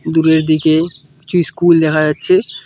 দূরের দিকে কিছু স্কুল দেখা যাচ্ছে।